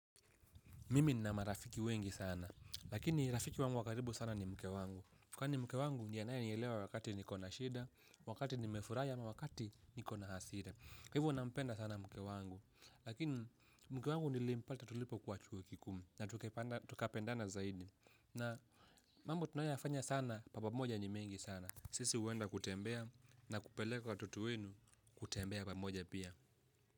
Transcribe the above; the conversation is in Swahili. Mimi nina marafiki wengi sana. Lakini rafiki wangu wakaribu sana ni mke wangu. Kwani mke wangu ndiye anayanielewa wakati niko na shida, wakati nimefurahi ama wakati niko na hasira. Hivo nampenda sana mke wangu. Lakini mke wangu nilimpata tulipokuwa chuo kikuu na tukapendana zaidi. Na mambo tunayayofanya sana kwa pamoja ni mengi sana. Sisi huenda kutembea na kupeleka watoto wenu kutembea pamoja pia.